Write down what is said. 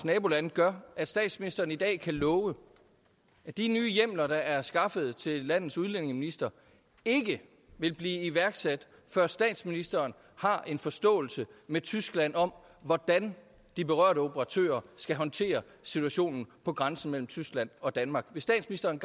nabolande gør at statsministeren i dag kan love at de nye hjemler der er skaffet til landets udlændingeminister ikke vil blive iværksat før statsministeren har en forståelse med tyskland om hvordan de berørte operatører skal håndtere situationen på grænsen mellem tyskland og danmark vil statsministeren